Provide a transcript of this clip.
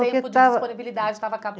disponibilidade estava